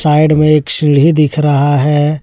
Side में एक सीढ़ी दिख रहा है।